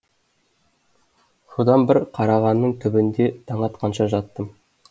содан бір қарағанның түбінде таң атқанша жаттым